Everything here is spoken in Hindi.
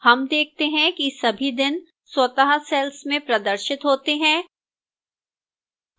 हम देखते हैं कि सभी दिन स्वतः cells में प्रदर्शित होते हैं